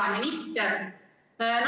Hea minister!